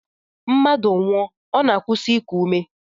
Mmadụ nwụọ, ọ na-akwụsị iku ume